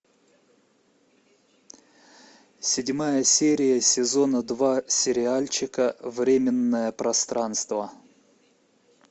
седьмая серия сезона два сериальчика временное пространство